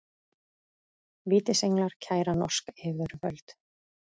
Vítisenglar kæra norsk yfirvöld